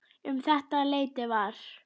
Um þetta leyti var